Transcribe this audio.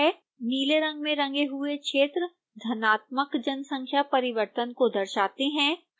नीले रंग में रंगे हुए क्षेत्र धनात्मक जनसंख्या परिवर्तन को दर्शाते हैं